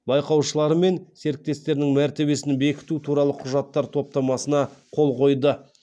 байқаушылары мен серіктестерінің мәртебесін бекіту туралы құжаттар топтамасына қол қойды